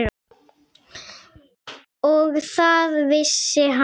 Og það vissi hann vel.